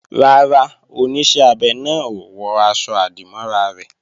Rárá, Oníṣẹ́ abẹ náà ò wọ aṣọ-àdìmọ́ra rẹ̀